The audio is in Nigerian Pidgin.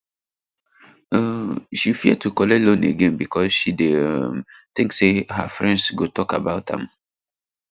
um she fear to collect loan again because she dey um think say her friends go talk about am